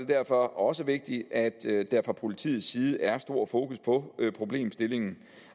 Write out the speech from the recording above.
derfor også vigtigt at der fra politiets side er stor fokus på problemstillingen